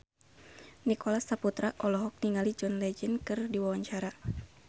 Nicholas Saputra olohok ningali John Legend keur diwawancara